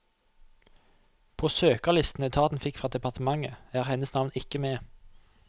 På søkerlistene etaten fikk fra departementet, er hennes navn ikke med.